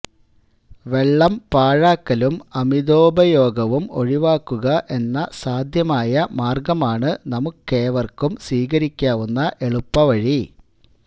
വെള്ളം പാഴാക്കലും അമിതോപയോഗവും ഒഴിവാക്കുക എന്ന സാധ്യമായ മാർഗമാണ് നമുക്കേവർക്കും സ്വീകരിക്കാവുന്ന എളുപ്പവഴി